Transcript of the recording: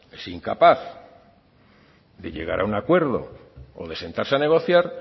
es incapaz de llegar a un acuerdo o de sentarse a negociar